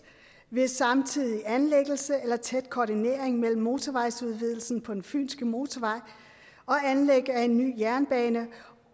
ved samtidig anlæggelse eller tæt koordinering mellem motorvejsudvidelsen på fynske motorvej og anlæg af en ny jernbane